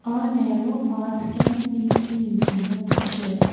a narrow path can we seen in the picture.